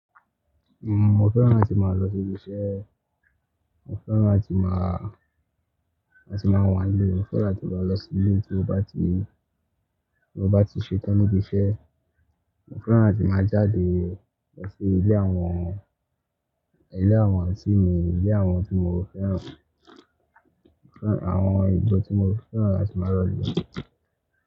Uhm, mo fẹ́ràn láti máa lọ sí ibi iṣẹ́, mo fẹ́ràn láti máà, láti máa wà nílé, mo fẹ́ràn láti máa lọ sí ilé tí mo bá ti, ti mo bá ti ṣetán níbi iṣẹ́. Mo fẹ́ràn láti máa jáde lọ sí ilé àwọn, ilé àwọn anti mi, ilé àwọn tí mo fẹ́ràn, àwọn ijo tí mo fẹ́ràn láti máa lọ lọ.